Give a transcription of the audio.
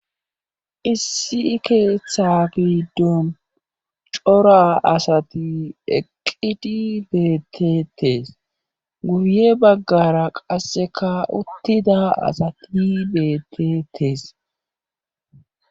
issi keeththa giiddon cora asati eqqidi beetetees guye baggara qasseka uttida asati betetees